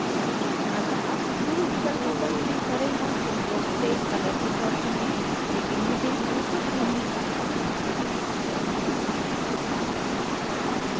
अतः tool विकल्पों पर click करें और tool बॉक्स से color picker चुनें लेकिन मुझे यहाँ कुछ भी नहीं दिखता